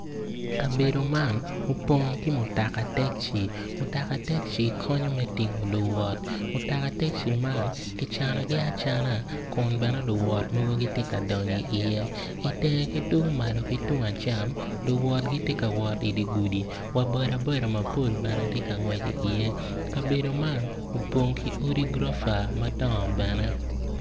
Kabedo man opong ki mutoka taci mutoka taci konyo me tingo luwot mutoka teci man ki canogi acan kun bene luwot mogo gitye ka donyo iye ki i cere kun malo ki tung acam luwot gitye ka wot i dye gudi wa bodaboda mopol bene gitye ka ngwec iye kabedo man opong ki odi gurofa bene.